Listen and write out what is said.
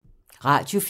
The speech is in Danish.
Radio 4